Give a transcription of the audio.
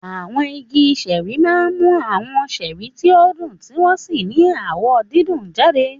Àwọn igi ṣẹ́ẹ́rì máa ń mú àwọn ṣẹ́rì tí ó dùn tí wọ́n sì ní àwọ̀ dídùn jáde.